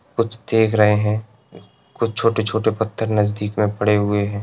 कुछ देख रहे हैं। कुछ छोटे-छोटे पत्थर नजदीक में पड़े हुए हैं।